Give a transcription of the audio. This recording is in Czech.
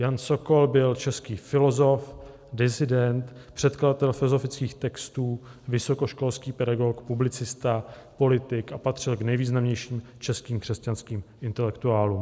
Jan Sokol byl český filosof, disident, překladatel filozofických textů, vysokoškolský pedagog, publicista, politik a patřil k nejvýznamnějším českým křesťanským intelektuálům.